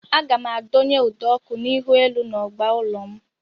Aga m adonye ụdọọkụ ihuelu n'ọgba ụlọ m